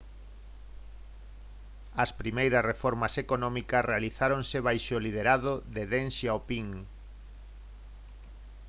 as primeiras reformas económicas realizáronse baixo o liderado de deng xiaoping